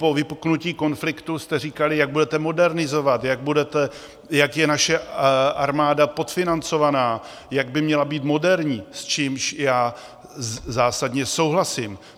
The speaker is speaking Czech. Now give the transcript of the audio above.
Po vypuknutí konfliktu jste říkali, jak budete modernizovat, jak je naše armáda podfinancovaná, jak by měla být moderní, s čímž já zásadně souhlasím.